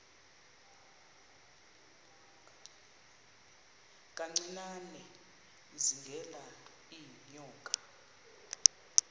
kancinane izingela iinyoka